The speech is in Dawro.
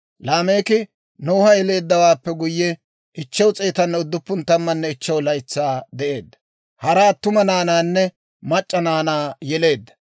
Laameeki Noha yeleeddawaappe guyye, 595 laytsaa de'eedda; hara attuma naanaanne mac'c'a naanaa yeleedda.